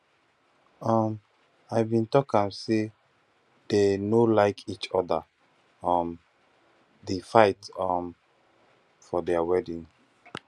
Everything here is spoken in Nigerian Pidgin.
um i bin talk am say dey no like each other um dey fight um for their wedding